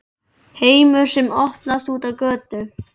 HEIMUR SEM OPNAST ÚT Á GÖTU